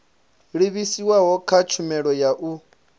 livhiswaho kha tshumelo ya u